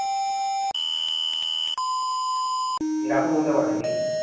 এরকম হতে পারেনি